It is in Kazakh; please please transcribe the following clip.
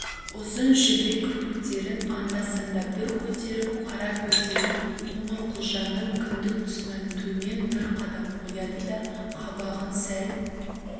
ұзын жібек кірпіктерін анда-санда бір көтеріп қара көздерін қоңырқұлжаның кіндік тұсынан төмен бір қадап қояды да қабағын сәл